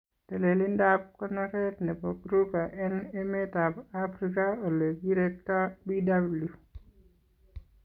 Telelindetab konoreet nebo Kruger en emeetab Afrika olee kirektaa Bw.